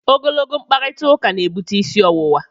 Ogologo mkparịtaụka na-ebute isi ọwụwa.